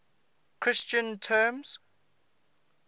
christian terms